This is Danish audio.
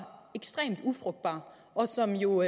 ekstremt ufrugtbar og som jo